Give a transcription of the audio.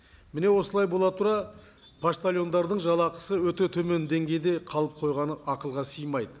міне осылай бола тұра поштальондардың жалақысы өте төмен деңгейде қалып қойғаны ақылға сыймайды